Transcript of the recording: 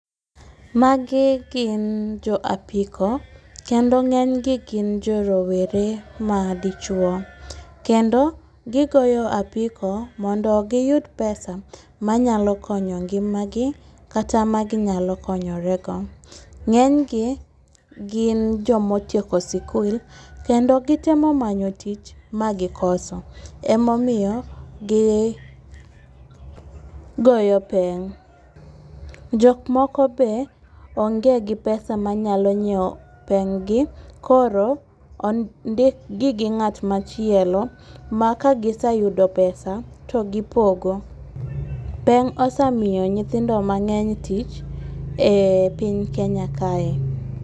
Magi gin jo apiko, kendo ng'enygi gi jorowere madichwo, kendo gigoyo apiko mondo giyud pesa manyalo konyo ngimagi kata maginyalo konyorego. Ng'enygi gin jomotieko skul, kendo gitemo manyo tich magikoso. Emomiyo giyoyo peng'. Jok moko be onge gi pesa manyalo nyiewo peng'gi, koro ondikgi gi ng'at machielo ma kagiseyudo pesa to gipogo. Peng' osemiyo nyithindo mang'eeny tich e piny Kenya kae.